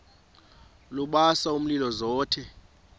lubasa umlilo zothe